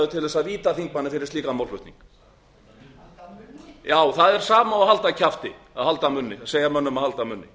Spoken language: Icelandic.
til þess að víta þingmanninn fyrir slíkan málflutning halda munni já það er sama og að halda kjafti að segja mönnum að halda munni